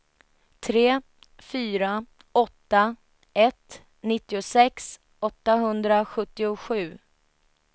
tre fyra åtta ett nittiosex åttahundrasjuttiosju